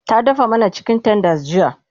ta dafa mana chicken tenders jiya